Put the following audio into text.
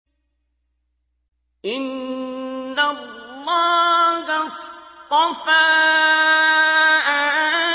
۞ إِنَّ اللَّهَ اصْطَفَىٰ